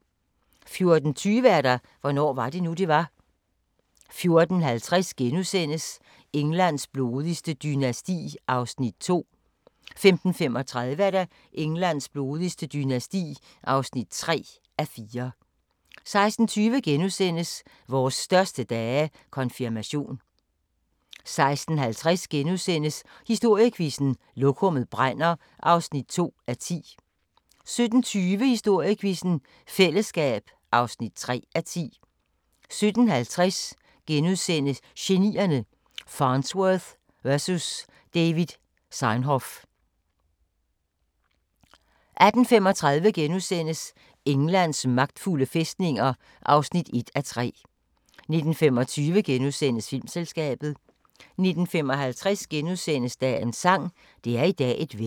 14:20: Hvornår var det nu, det var? 14:50: Englands blodigste dynasti (2:4)* 15:35: Englands blodigste dynasti (3:4) 16:20: Vores største dage – Konfirmation * 16:50: Historiequizzen: Lokummet brænder (2:10)* 17:20: Historiequizzen: Fællesskab (3:10) 17:50: Genierne: Farnsworth vs David Sarnoff * 18:35: Englands magtfulde fæstninger (1:3)* 19:25: Filmselskabet * 19:55: Dagens sang: Det er i dag et vejr *